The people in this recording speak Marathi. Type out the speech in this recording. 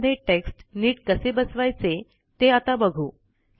सेल मध्ये टेक्स्ट नीट कसे बसवायचे ते आता बघू